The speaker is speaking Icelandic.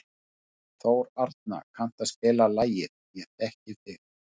Þórarna, kanntu að spila lagið „Ég þekki þig“?